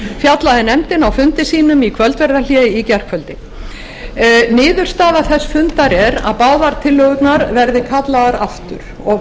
fjallaði nefndin á fundi sínum í kvöldverðarhléi í gærkvöldi niðurstaða þess fundar er að báðar tillögurnar verði kallaðar aftur og